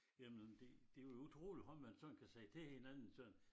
Jamen det det jo utroligt hvad man sådan kan sige til hinanden sagde han